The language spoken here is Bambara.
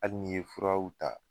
Hali n'i ye furaw ta.